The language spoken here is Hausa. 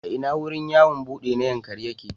A ina wurin yawon buɗe na Yankari yake?